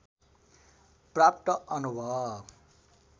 प्राप्त अनुभव